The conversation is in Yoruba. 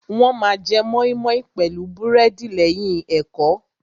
Wọ́n ma jẹ mọ́ímọ́í pẹ̀lú búrẹ́dì lẹ́yìn ẹ̀kọ́.